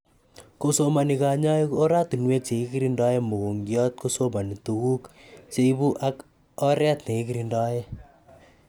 kosomani kanyoik oratunwek chekikirindae mogongiat kosomani tuguk cheibu ak areet nekiikirindae